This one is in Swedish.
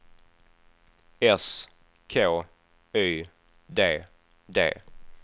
S K Y D D